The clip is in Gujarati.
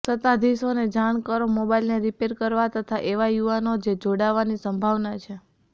સત્તાધીશોને જાણ કરો મોબાઇલને રીપેર કરવા તથા એવા યુવાનો જે જોડાવાની સંભાવના છે